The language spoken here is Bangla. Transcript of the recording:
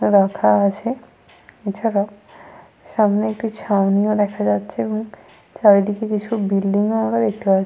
রাখা আছে। এছাড়াও সামনে একটি ছাউনি ও দেখা যাচ্ছে এবং চারিদিকে কিছু বিল্ডিং ও আমরা দেখতে পা --